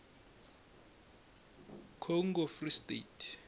congo free state